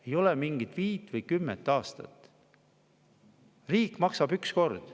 Ei ole mingit viit või kümmet aastat, riik maksab üks kord.